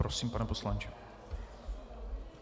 Prosím, pane poslanče.